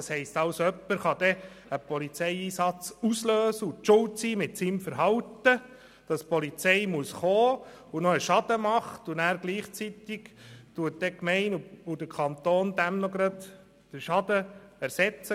Das bedeutet, dass jemand einen Polizeieinsatz auslösen kann, einen Schaden anrichtet, und gleichzeitig sollten Gemeinde oder Kanton dieser Person den Schaden ersetzen.